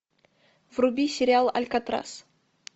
вруби сериал алькатрас